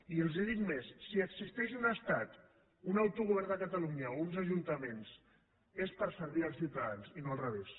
i els dic més si existeix un estat un autogovern de catalunya o uns ajuntaments és per servir els ciutadans i no al revés